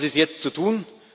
Was ist jetzt zu